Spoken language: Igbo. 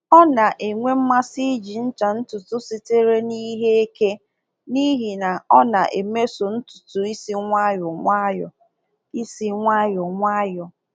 Ọ na-enwe mmasị iji ncha ntutu sitere n’ihe eke n’ihi na ọ na-emeso ntutu isi nwayọ nwayọ. isi nwayọ nwayọ.